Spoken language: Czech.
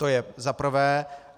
To je za prvé.